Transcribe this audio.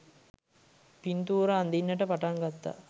පින්තූර අඳින්ට පටන් ගත්තා.